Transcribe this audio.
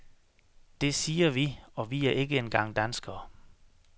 Det siger vi, og vi er ikke engang danskere.